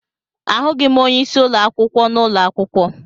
Ahụghị m onyeisi ụlọ akwụkwọ n'ụlọ akwụkwọ.